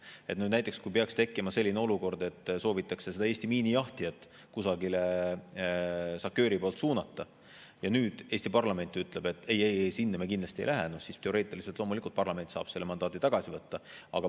Kui peaks tekkima näiteks selline olukord, et SACEUR-i poolt soovitakse Eesti miinijahtijat kusagile suunata ja Eesti parlament ütleb, et ei-ei-ei, sinna me kindlasti ei lähe, siis teoreetiliselt saab loomulikult parlament selle mandaadi tagasi võtta.